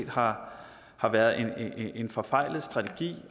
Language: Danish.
har har været en forfejlet strategi